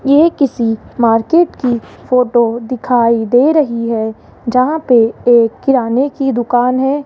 ये किसी मार्केट की फोटो दिखाई दे रही है जहां पे एक किराने की दुकान है।